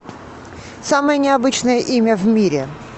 самое необычное имя в мире